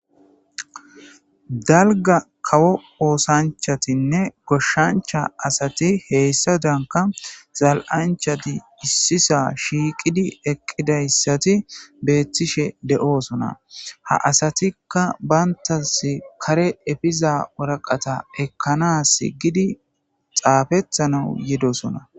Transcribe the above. dalga kawo oosanchatinne goshshancha asati heyssadanka zal7anchati issisa shiiqidi eqqidayssati beettishe de7oosona ha asatikka bayntas kare efiza woraqata ekkanas gidi xaafetana yidosona